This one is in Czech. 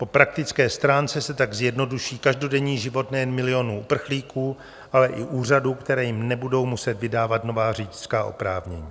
Po praktické stránce se tak zjednoduší každodenní život nejen milionů uprchlíků, ale i úřadů, které jim nebudou muset vydávat nová řidičská oprávnění.